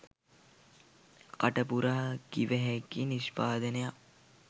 කටපුරා කිවහැකි නිෂ්පාදනයක්